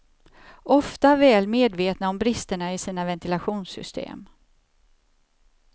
Ofta väl medvetna om bristerna i sina ventilationssystem.